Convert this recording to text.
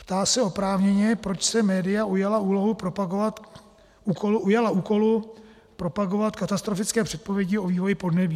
Ptá se oprávněně, proč se média ujala úkolu propagovat katastrofické předpovědi o vývoji podnebí.